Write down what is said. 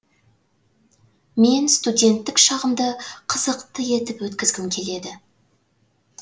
мен студенттік шағымды қызықты етіп өткізгім келеді